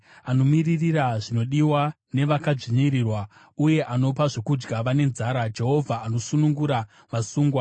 Anomiririra zvinodiwa nevakadzvinyirirwa, uye anopa zvokudya vane nzara. Jehovha anosunungura vasungwa.